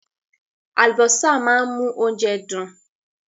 Àlùbọ́sà máa ń mú oúnjẹ dùn.